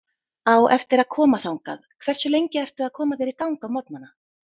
Á eftir að koma þangað Hversu lengi ertu að koma þér í gang á morgnanna?